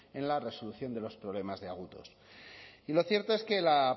en la resolución de los problemas de agudos y lo cierto es que la